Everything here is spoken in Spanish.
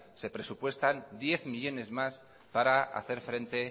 se presupuestan diez millónes más para hacer frente